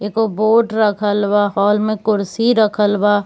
एगो बोर्ड रखल बा हॉल में कुर्सी रखल बा।